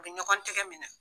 A bɛ ɲɔgɔn tɛgɛ mina.